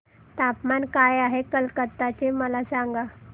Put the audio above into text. तापमान काय आहे कलकत्ता चे मला सांगा